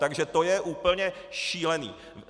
Takže to je úplně šílené!